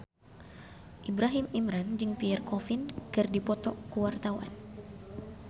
Ibrahim Imran jeung Pierre Coffin keur dipoto ku wartawan